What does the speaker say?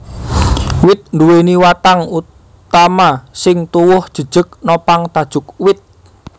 Wit nduwèni watang utama sing tuwuh jejeg nopang tajuk wit